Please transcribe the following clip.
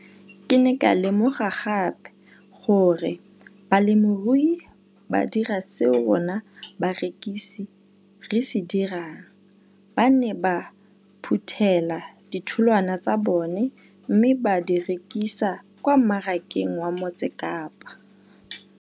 Ke ne ka lemoga gape gore balemirui ba dira seo rona barekisi re se dirang - ba ne ba phuthela ditholwana tsa bona mme ba di rekisa kwa marakeng wa Motsekapa.